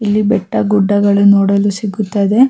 ಇಲ್ಲಿ ಬೆಟ್ಟ ಗುಡ್ಡಗಳು ನೋಡಲು ಸಿಗುತ್ತದೆ .